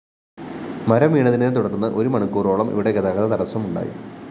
മരം വീണതിനെത്തുടര്‍ന്ന് ഒരു മണിക്കൂറോളം ഇവിടെ ഗതാഗത തടസ്സം ഉണ്ടായി